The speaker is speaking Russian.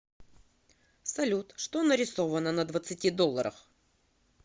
салют что нарисовано на двадцати долларах